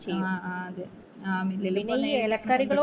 ആ ആ അതെ ആ മിലിലൊക്കെ കൊണ്ടോയി